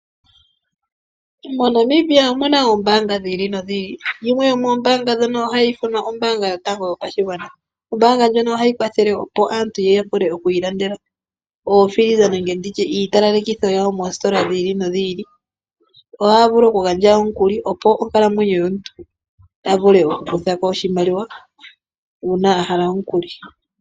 MoNamibia omuna oombaanga dhi ili nodhi ili, yimwe yomoombaanga ndhono ohayi ithanwa ombaanga yotango yopashigwana. Ombaanga ndjono ohayi kwathele aantu opo ya vule okwiilandela iitalalekitho yawo moositola dhi ili nodhi ili. Ohaya vulu okugandja omukuli.